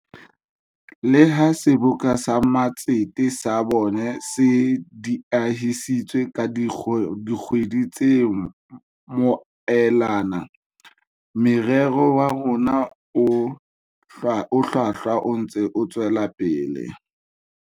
Le ha Seboka sa Matsete sa bone se diehisitswe ka di kgwedi tse moelana, morero wa rona o hlwahlwa o ntse o tswela pele.